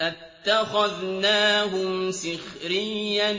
أَتَّخَذْنَاهُمْ سِخْرِيًّا